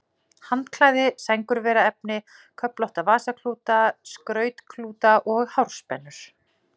Handklæði, sængurveraefni, köflótta vasaklúta, skrautklúta og hárspennur.